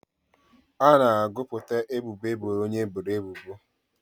A na-agụpụta ebubo eboro onye eboro ebubo.